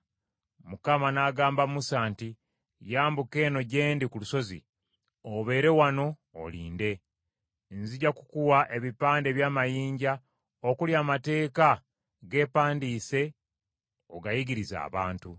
Mukama n’agamba Musa nti, “Yambuka eno gye ndi ku lusozi, obeere wano olinde; nzija kukuwa ebipande eby’amayinja okuli amateeka g’empandiise ogayigirize abantu.”